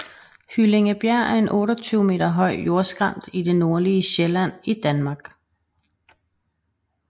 Hyllingebjerg er en 28 meter høj jordskrænt i det nordlige Sjælland i Danmark